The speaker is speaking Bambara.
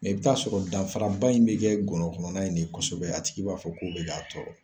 i bi taa sɔrɔ danfaraba in be kɛ gɔnɔ kɔnɔna in de ye kɔsɛbɛ. A tigi b'a fɔ ko be ka a tɔɔrɔ.